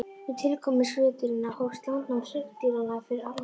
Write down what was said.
Með tilkomu skriðdýranna hófst landnám hryggdýranna fyrir alvöru.